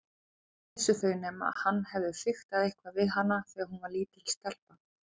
Hvað vissu þau nema hann hefði fiktað eitthvað við hana þegar hún var lítil stelpa.